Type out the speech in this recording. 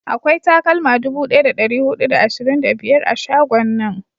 akwai takalma dubu daya da dari hudu da ashirin da biyar a shagon nan